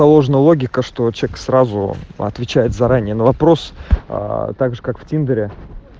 положено логика что человек сразу отвечает заранее на вопрос также как в тиндере